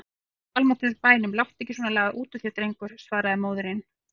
Í guðs almáttugs bænum láttu ekki svona lagað út úr þér drengur, svaraði móðirin.